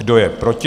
Kdo je proti?